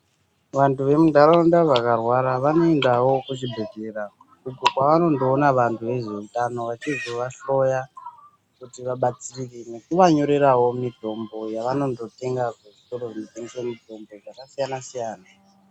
Vantu vemundaraunda vakarwara vanoendawo kuzvibhehleya kwavonondoona vantu vanoita ngezveutano kuva hloya kuti vabatsirike nekuva nyorerawo mitombo yavanondo tenga kuzvitoro zvinotengeswe mitombo yakasiyana siyana.